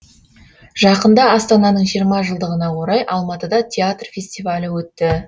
жақында астананың жиырма жылдығына орай алматыда театр фестивалі өтті